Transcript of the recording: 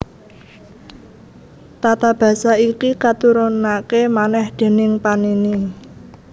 Tata basa iki katurunaké manèh déning Panini